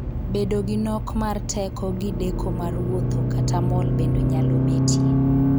Bedo gi nok mar teko gi deko mar wuotho kata mol bende nyalo betie.